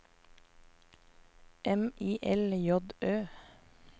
M I L J Ø